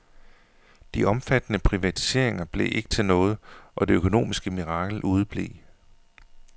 De omfattende privatiseringer blev ikke til noget, og det økonomiske mirakel udeblev.